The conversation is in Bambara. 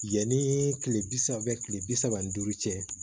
Yanni kile bi saba kile bi saba ni duuru cɛ